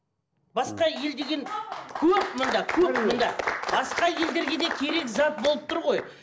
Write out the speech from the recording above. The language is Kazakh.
басқа ел деген көп мында көп мында басқа елдерге де керек зат болып тұр ғой